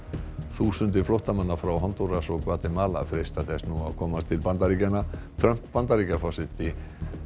þúsundir flóttamanna frá Hondúras og Gvatemala freista þess nú að komast til Bandaríkjanna Trump Bandaríkjaforseti